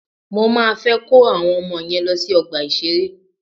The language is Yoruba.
Mọ máa fẹ́ kó àwọn ọmọ yen lọ sí ọgbà ìṣẹ̀rẹ́.